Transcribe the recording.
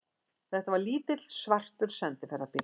Þetta var lítill, svartur sendiferðabíll.